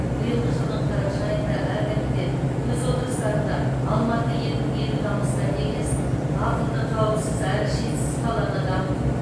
биылғы жылдың қараша айында әр комитет өз отырыстарында алматы екі мың елу даму стратегиясын ақылды қауіпсіз әрі шетсіз қаланы дамыту